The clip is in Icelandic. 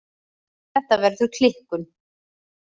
Þetta verður klikkun.